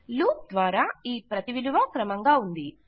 loop ద్వారా ఈ విలువ క్రమంగా ప్రతిగా ఉంది